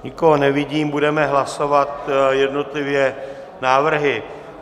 Nikoho nevidím, budeme hlasovat jednotlivě návrhy.